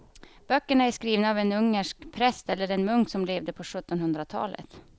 Böckerna är skrivna av en ungersk präst eller munk som levde på sjuttonhundratalet.